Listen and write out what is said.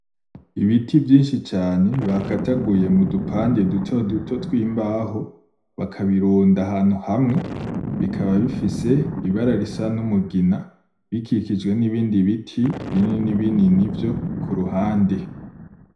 Ibiti vyinshi cane bagajaguye m'udupande duto duto tw'imbaho bakabirunda ahantu hamwe bikaba bifise ibara risa n'umugina bikikijwe n'ibindi biti binini binini vyo kuruhande.